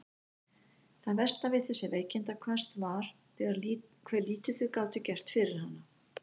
Það versta við þessi veikindaköst var hve lítið þau gátu gert fyrir hana.